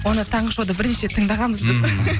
оны таңғы шоуда бірінші рет тыңдағанбыз біз